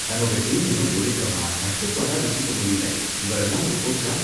தன்னோட டீம ஒழுக்கமா, கட்டுப்பாடா வச்சுக்க முடியலை, இவரெல்லாம் ஒரு கோச்சா!